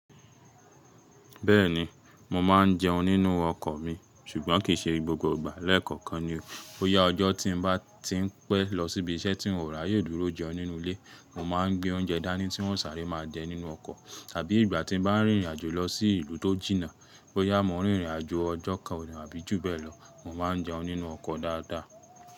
Bẹ́ẹ̀ni, mo ma n jeun nínú ọkọ̀ mi ṣùgbọ́n kì í ṣe gbogbo ìgbà. Lẹ́ẹ̀kọ̀kan ni o. Bo yá ọjọ́ tí n bá ti ń pẹ́ lọ síbi iṣẹ́ tí n ò rà yóò dúró jẹun nínú ilé, mo ma n gbé oúnjẹ dání tí wọ́n sáré máa jẹ nínú ọkọ̀. Abí ìgbà tí n bá rìnrìn àjò lọ sí ìlú tó jìnnà, bó yá mo n rìnrìn àjò ọjọ́ kan àbí ju bẹ́ẹ̀ lọ, mo ma n jeun nínú ọkọ̀ dáadáa.